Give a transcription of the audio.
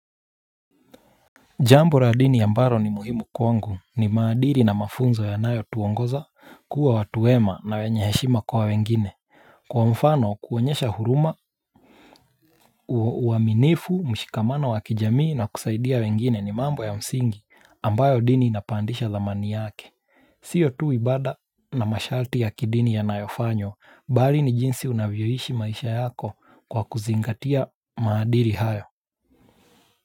Jambo la dini ambaro ni muhimu kwangu ni maadiri na mafunzo ya nayo tuongoza kuwa watuwema na wenyeheshima kwa wengine. Kwa mfano kuonyesha huruma uaminifu mshikamano wakijamii na kusaidia wengine ni mambo ya msingi ambayo dini inapandisha dhamani yake. Sio tu ibada na masharti ya kidini ya nayofanywa bali ni jinsi unavyoishi maisha yako kwa kuzingatia maadiri hayo.